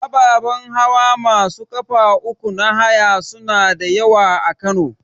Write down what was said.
Ababan hawa masu ƙafa uku na haya suna da yawa a Kano.